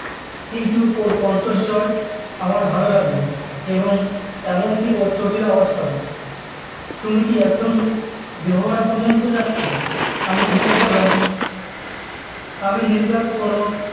কিন্তু ওর কণ্ঠস্বর আমার ভালো লাগলো এবং এমনকি ওর চটির আওয়াজটাও তুমি কি একদম দেহরা পর্যন্ত যাচ্ছ? আমি জিগেস করলাম আমি নির্ঘাত কোনো